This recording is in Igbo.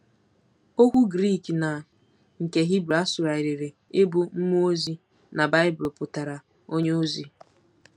Okwu Grik na nke Hibru a sụgharịrị ịbụ “mmụọ ozi” na Baịbụl pụtara “onye ozi.”